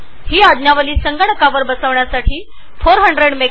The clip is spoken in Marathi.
हे सॉफ्टवेअर संगणकावर डाउनलोड करण्यासाठी तुम्हाला ४०० एमएचझेड